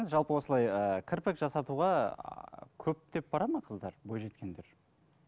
жалпы осылай ы кірпік жасатуға көптеп барады ма қыздар бойжеткендер